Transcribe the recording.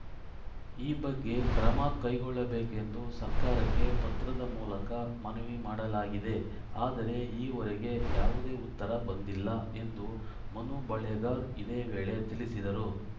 ಈ ಬಗ್ಗೆ ಕ್ರಮ ಕೈಗೊಳ್ಳಬೇಕೆಂದು ಸರ್ಕಾರಕ್ಕೆ ಪತ್ರದ ಮೂಲಕ ಮನವಿ ಮಾಡಲಾಗಿದೆ ಆದರೆ ಈವರೆಗೆ ಯಾವುದೇ ಉತ್ತರ ಬಂದಿಲ್ಲ ಎಂದು ಮನು ಬಳಿಗಾರ್‌ ಇದೇ ವೇಳೆ ತಿಳಿಸಿದರು